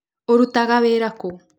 ũrũtaga wĩra kũ?